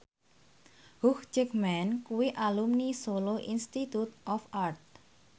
Hugh Jackman kuwi alumni Solo Institute of Art